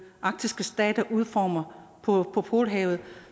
arktiske stater udformer for polhavet og